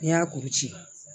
N'i y'a kuru ci